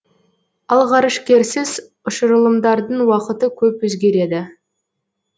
ал ғарышкерсіз ұшырылымдардың уақыты көп өзгереді